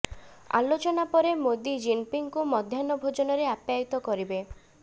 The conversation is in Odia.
ଆଲୋଚନା ପରେ ମୋଦି ଜିନ୍ପିଙ୍ଗଙ୍କୁ ମଧ୍ୟାହ୍ଣ ଭୋଜନରେ ଅପ୍ୟାୟିତ କରିବେ